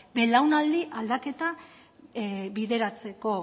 belaunaldi aldaketa bideratzeko